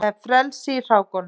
Það er frelsi í hrákunum.